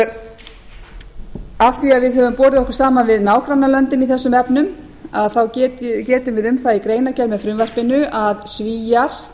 að við höfum borið okkur saman við nágrannalöndin í þessum efnum getum við um það í greinargerð með frumvarpinu að svíar